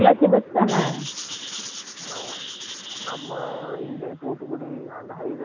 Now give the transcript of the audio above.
ஆமா இங்க இருந்து தூதுகுடி high ways ல எபடி race கூடிடு போக முடியும்